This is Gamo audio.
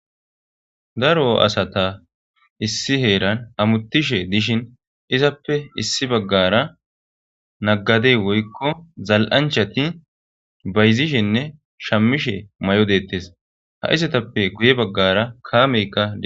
Daro asata issi heeran amutishe dishin izappe issi baggara naggadey woykko zal'anchati bayzishenne shammishe may'o deettes ha izatappe guye baggara kaameykka.